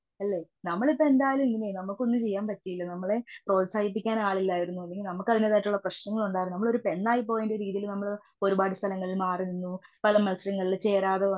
അല്ലെ നമ്മലിപ്പന്തായാലും ഇങ്ങനെ ആയി നമുക്ക് ഒന്നും ചെയ്യാൻ പറ്റിയില്ല. നമ്മളെ പ്രോത്സാഹിപ്പിക്കാൻ ആളില്ലായിരുന്നു. നമുക്ക് അതിന്റേതായിട്ടുള്ള പ്രേശ്നങ്ങൾ ഉണ്ടായിരുന്നു. എന്നാൽ പോലും ഒരു പെണ്ണായി പോയിന്റൊരു രീതിയിൽ നമ്മള് ഒരുപാട് സ്ഥലങ്ങളിലും മാറി നിന്നു പല മത്സരങ്ങളിലും ചേരാതേ വന്നു.